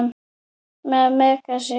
Með Megasi.